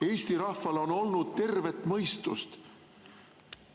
Eesti rahval on olnud tervet mõistust.